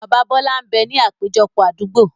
Bàbá Bọlá ń bẹ ní àpéjọpọ̀ Àdúgbo